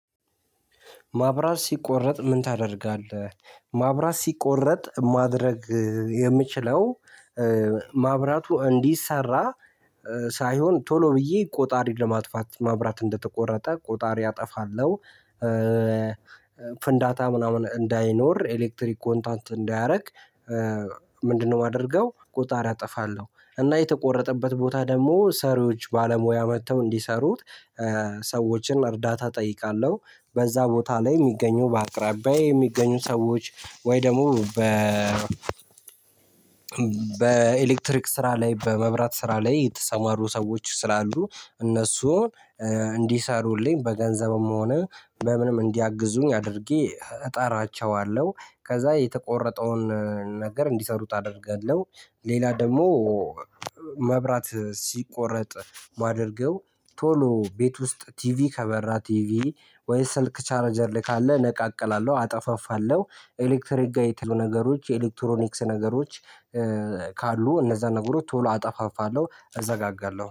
ማብራት ሲቆረጥ ምን ታደርጋለህ? ማብራት ሲቆረጥ ማድረግ የምችለው ማብራቱ እንዲሰራ ሳይሆን ቶሎ ብዬ ቆጣሪ ለማጥፋት ማብራት እንደተቆረጠ ቆጣሪ አጠፋለሁ። ፍንዳታ ምናምን እንዳይኖር ኤሌክትሪክ ኮንታንት እንዳያደርግ። ምንድነው የማደርገው ቆጣሪ አጠፋለሁ። እና የተቆረጠበት ቦታ ደግሞ ሰሪዎች ባለሙያ መጥተው እንዲሰሩት ሰዎችን እርዳታ እጠይቃለሁ። በዛ ቦታ ላይ የሚገኙ በአቅራቢያዬ የሚገኙ ሰዎች ወይ ደግሞ በኤሌክትሪክ ስራ ላይ በመብራት ስራ ላይ የተሰማሩ ሰዎች ስላሉ። እነሱን እንዲሰሩልኝ በገንዘብም ሆነ በምንም እንዲያግዙኝ አድርጌ እጠራቸዋለሁ። ከዛ የተቆረጠውን ነገር እንዲሰሩት አደርጋለሁ። ሌላ ደግሞ መብራት ሲቆረጥ ማደርገው ቶሎ ቤት ውስጥ ቲቪ ከበራ ቲቪ ወይስ ስልክ ቻርጀር ላይ ካለ እነቃቅላለው አጠፋፋለው ኤሌክትሪክ ጋር ነገሮች የኤሌክትሮኒክስ ነገሮች ካሉ እነዛ ነገሮች ቶሎ አጠፋፋለሁ እዘጋጋለሁ